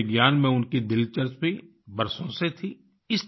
मौसम विज्ञान में उनकी दिलचस्पी बरसों से थी